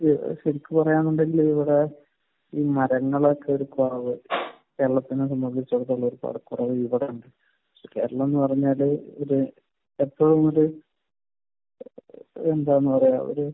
എനിക്ക് പറയാനുള്ള ഇവിടെ ഈ മരങ്ങളുടെയൊക്കെ ഒരു കുറവ്. കേരളത്തിനെ സംബന്ധിച്ചിടത്തോളം കുറവ് ഇവിടെയുണ്ട്. സോ, കേരളമെന്ന് പറഞ്ഞാൽ ഒരു ഏഹ് എന്താണ് പറയുക ഒരു